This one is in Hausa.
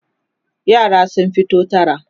yara sun fito tara